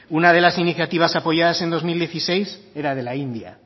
una de las iniciativas apoyadas en dos mil dieciséis era de la india